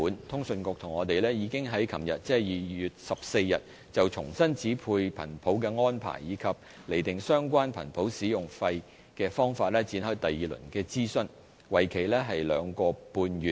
通訊事務管理局和我們已在昨日就重新指配頻譜的安排，以及釐定相關頻譜使用費的方法展開第二輪諮詢，為期兩個半月。